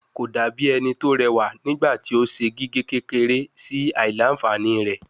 Ko dabi ẹni ti rewa nigbati o ṣe gige kekere si aila-nfani rẹ